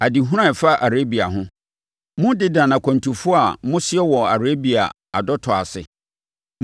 Adehunu a ɛfa Arabia ho: Mo Dedan akwantufoɔ a mosoɛ wɔ Arabia adɔtɔ ase,